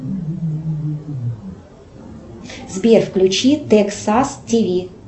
сбер включи тексас тв